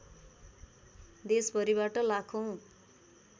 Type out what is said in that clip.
देश भरिबाट लाखौँ